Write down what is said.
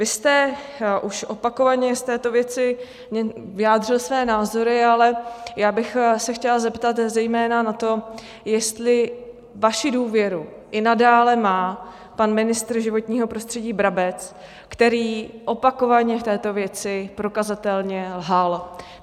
Vy jste už opakovaně k této věci vyjádřil své názory, ale já bych se chtěla zeptat zejména na to, jestli vaši důvěru i nadále má pan ministr životního prostředí Brabec, který opakovaně v této věci prokazatelně lhal.